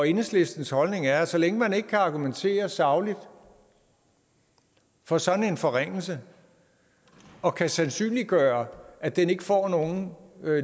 enhedslistens holdning er at så længe man ikke kan argumentere sagligt for sådan en forringelse og kan sandsynliggøre at den ikke får nogen